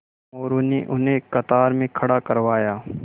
मोरू ने उन्हें कतार में खड़ा करवाया